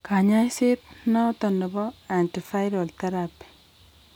Kanyaiset noton ko nebo antiviral therapy